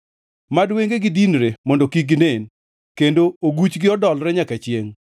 Mad wengegi dinre mondo kik ginen kendo oguchgi odolre nyaka chiengʼ.